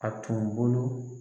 A tun bolo.